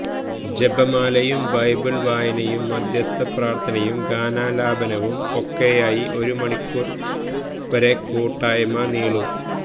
ജപമാലയും Bible വായനയും മാദ്ധ്യസ്ഥ പ്രാർത്ഥനയും ഗാനാലാപനവും ഒക്കെയായി ഒരു മണിക്കൂർ വരെ കൂട്ടായ്മ നീളും